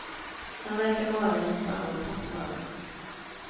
Han verkar vara en sammansatt man.